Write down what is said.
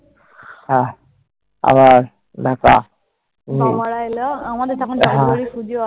হ্যাঁ। আবার